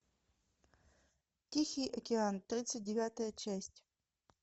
тихий океан тридцать девятая часть